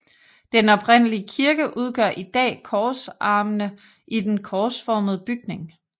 Den oprindelige kirke udgør i dag korsarmene i den korsformede bygning